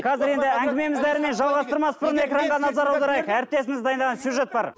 қазір енді әңгімені жалғастырмас бұрын экранға назар аударайық әріптесіміз дайындаған сюжет бар